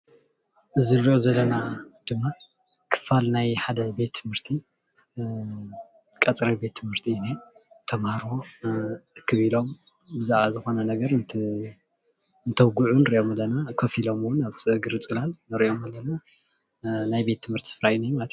እዚ እንሪኦ ዘለና ድማ ክፋል ናይ ሓደ ቤት ትምህርቲ ቀፅሪ ቤት ትምህርቲ እዩ ዝነሄ፡፡ ተማሃሮ እክብ ኢሎም ብዛዕባ ዝኮነ ነገር እንተውግዑ ንሪኦም ኣለና፡፡ ከፍ ኢሎም ኣብ እግሪ ፅላል ንሪኦም ኣለና፡፡ ናይ ቤት ትምህርቲ ስፍራ እዩ እኒሀ ማለት፡፡